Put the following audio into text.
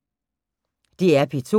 DR P2